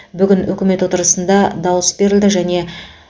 бүгін үкімет отырысында дауыс берілді және